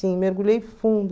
mergulhei fundo.